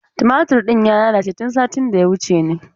Tumatur ɗin ya lalace tun satin da ya wuce ne.